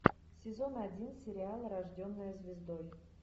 сезон один сериала рожденная звездой